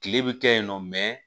Kile bɛ kɛ yen nɔ